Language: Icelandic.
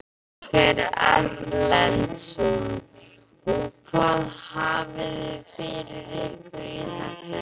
Ásgeir Erlendsson: Og hvað hafiði fyrir ykkur í þessu?